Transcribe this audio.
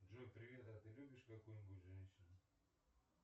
джой привет а ты любишь какую нибудь женщину